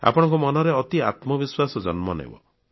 ଆପଣଙ୍କ ମନରେ ଅତି ଆତ୍ମବିଶ୍ୱାସ ଜନ୍ମ ନେବ